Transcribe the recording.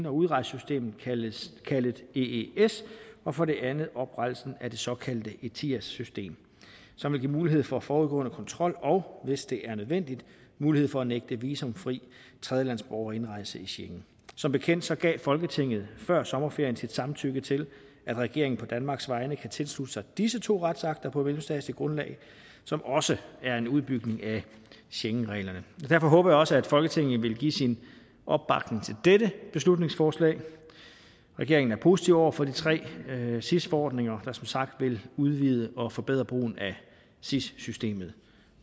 og udrejsesystem kaldet ees og for det andet om oprettelsen af det såkaldte etias system som vil give mulighed for forudgående kontrol og hvis det er nødvendigt mulighed for at nægte visumfrie tredjelandsborgere indrejse i schengen som bekendt gav folketinget før sommerferien sit samtykke til at regeringen på danmarks vegne kan tilslutte sig disse to retsakter på mellemstatsligt grundlag som også er en udbygning af schengenreglerne derfor håber jeg også at folketinget vil give sin opbakning til dette beslutningsforslag regeringen er positive over for de tre sis forordninger der som sagt vil udvide og forbedre brugen af sis systemet